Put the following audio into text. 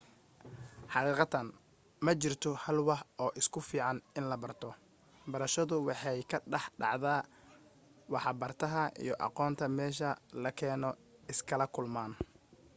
xaqiiqatan ma jirto hal wax oo ku fiican in la barto barashadu waxay ka dhex dhacdaa waxa bartaha iyo aqoonta meesha la keeno iskala kulmaan